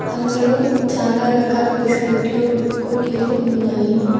అందులో చాలా రకాల బిస్కెట్లు కుక్కీలు ఉన్నాయి.